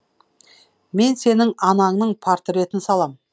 мен сенің анаңның портретін салам